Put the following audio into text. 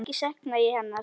Mikið sakna ég hennar.